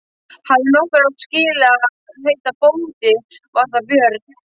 Hafi nokkur átt skilið að heita bóndi var það Björn.